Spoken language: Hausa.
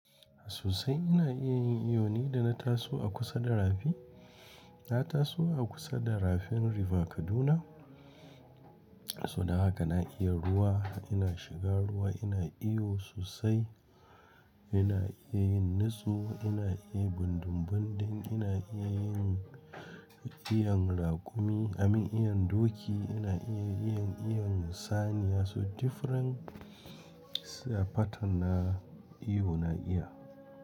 Susai ina iya yin iyo ne da na taso a kusa da rafi. Na taso a kusa da rafin River Kaduna, so da haka na iya ruwa. Ina shiga ruwa, ina iyo sosai. Ina iya yin nitsu, ina iya bindumbundun, ina iya yin iyon raƙumi, amin iyon doki, ina iya iyon, iyon saniya. So different pattern na iyo na iya.